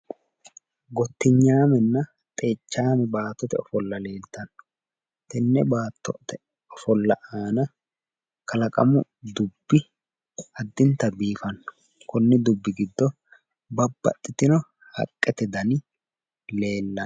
Gottinyaamenna xeichaame baattote ofolla leeltanno. Tenne baattote ofolla aana kalaqamu dubbi addinta biifanno. Konni dubbi giddo babbaxxitino haqqete dani leellanno.